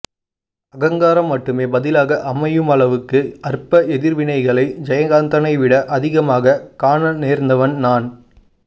அகங்காரம் மட்டுமே பதிலாக அமையுமளவுக்கு அற்ப எதிர்வினைகளை ஜெயகாந்தனைவிட அதிகமாகக் காணநேர்ந்தவன் நான்